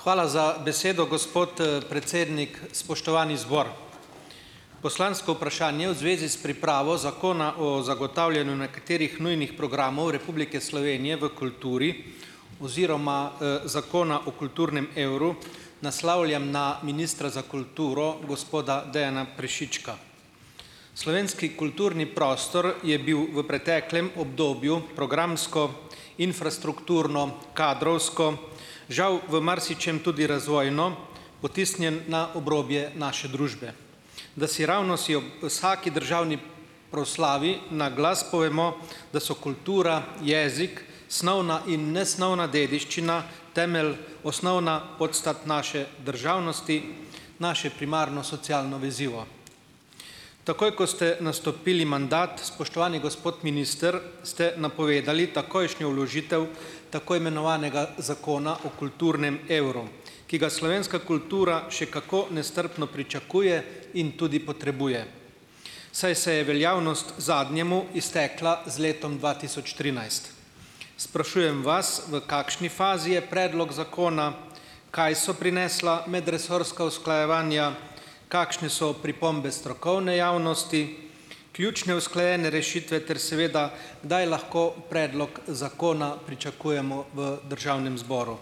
Hvala za besedo, gospod predsednik. Spoštovani zbor! Poslansko vprašanje v zvezi s pripravo zakona o zagotavljanju nekaterih nujnih programov Republike Slovenije v kulturi oziroma zakona o kulturnem evru naslavljam na ministra za kulturo, gospoda Dejana Prešička. Slovenski kulturni prostor je bil v preteklem obdobju programsko, infrastrukturno, kadrovsko žal v marsičem tudi razvojno potisnjen na obrobje naše družbe. Dasiravno si ob vsaki državni proslavi naglas povemo, da so kultura, jezik, snovna in nesnovna dediščina temelj osnovna podstat naše državnosti, naše primarno socialno vezivo. Takoj, ko ste nastopili mandat, spoštovani gospod minister, ste napovedali takojšnjo vložitev tako imenovanega zakona o kulturnem evru, ki ga slovenska kultura še kako nestrpno pričakuje in tudi potrebuje, saj se je veljavnost zadnjemu iztekla z letom dva tisoč trinajst. Sprašujem vas, v kakšni fazi je predlog zakona? Kaj so prinesla medresorska usklajevanja? Kakšne so pripombe strokovne javnosti, ključne usklajene rešitve ter seveda kdaj lahko predlog zakona pričakujemo v Državnem zboru?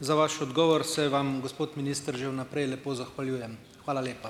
Za vaš odgovor se vam, gospod minister, že vnaprej lepo zahvaljujem. Hvala lepa.